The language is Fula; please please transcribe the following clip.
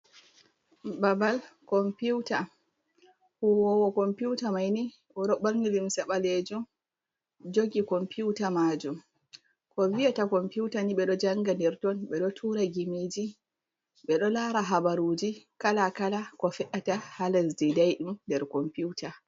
Babal Kompiuta. huwowo kompiuta maini oɗo ɓorni Limse ɓaleje oɗo jogi Kompiuta majum. ko viyata Kompiuta ni ɓe ɗo janga nder ton, ɓe ɗo tura Gimiji ɓe ɗo Lara habaruji Kala kala, Ko fe’ata ha Lesdi Daiɗum nder Kompiuta.